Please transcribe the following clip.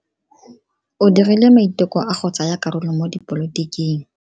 O dirile maiteko a go tsaya karolo mo dipolotiking.